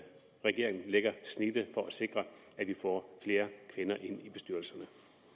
regeringen lægger snittet for at sikre at vi får flere kvinder ind i bestyrelserne